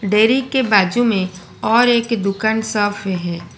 Dairy के बाजू में और एक दुकान साफ है।